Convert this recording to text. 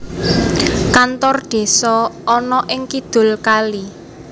Kantor Desa ana ing kidul kali